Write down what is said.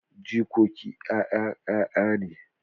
Jikoki 'ya'yan 'ya'ya ne.